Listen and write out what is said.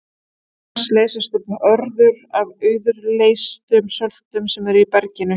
Auk þess leysast upp örður af auðleystum söltum sem eru í berginu.